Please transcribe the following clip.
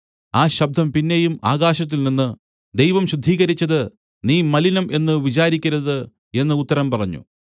ആ ശബ്ദം പിന്നെയും ആകാശത്തിൽനിന്ന് ദൈവം ശുദ്ധീകരിച്ചത് നീ മലിനം എന്നു വിചാരിക്കരുത് എന്ന് ഉത്തരം പറഞ്ഞു